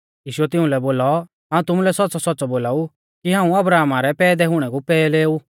यीशुऐ तिउंलै बोलौ हाऊं तुमुलै सौच़्च़ौसौच़्च़ौ बोलाऊ कि हाऊं अब्राहमा रै पैदै हुणै कु पैहले ऊ